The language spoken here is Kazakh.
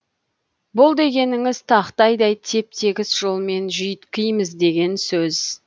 бұл дегеніңіз тақтайдай теп тегіс жолмен жүйіткиміз деген сөз